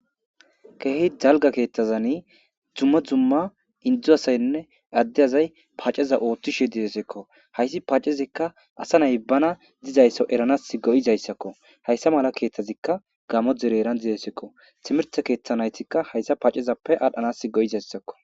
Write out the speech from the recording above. Kehi dalgga keththazinn dumma dumma Indo asayinne ade asayi paaceza oththishe dizayissakko hayiss pacezikka asa nayi bana dizaso eranas go'izayissakko.hayissa mala keththazikka Gamo dere heranni dizayisazakko.timirti keththa nayittikka hayissa pacezappe adhdhanas go'izayissakko.